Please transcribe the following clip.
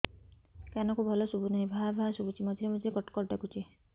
କାନକୁ ଭଲ ଶୁଭୁ ନାହିଁ ଭାଆ ଭାଆ ଶୁଭୁଚି ମଝିରେ ମଝିରେ କଟ କଟ ଡାକୁଚି